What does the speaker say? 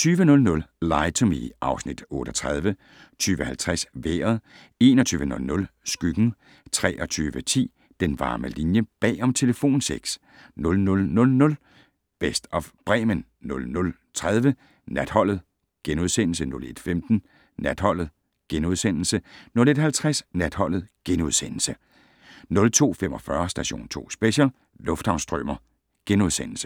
20:00: Lie to Me (Afs. 38) 20:50: Vejret 21:00: Skyggen 23:10: Den varme linje - bag om telefonsex 00:00: Best of Bremen 00:30: Natholdet * 01:15: Natholdet * 01:50: Natholdet * 02:45: Station 2 Special: Lufthavnsstrømer *